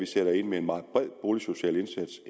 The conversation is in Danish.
sætter vi ind med en meget bred boligsocial indsats